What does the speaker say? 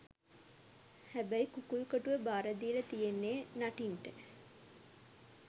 හැබැයි කුකුල් කොටුව බාර දීල තියෙන්නේ නටින්ට.